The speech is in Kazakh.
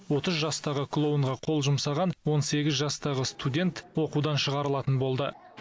отыз жастағы клоунға қол жұмсаған он сегіз жастағы студент оқудан шығарылатын болды